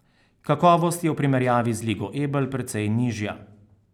Kakovost je v primerjavi z Ligo Ebel precej nižja.